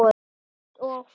Fát og fum